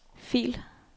fil